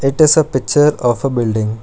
It is a picture of a building.